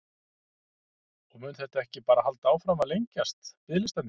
Og mun þetta ekki bara halda áfram að lengjast, biðlistarnir?